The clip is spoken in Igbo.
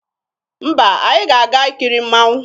Mba, anyị ga-aga ikiri mmanwụ.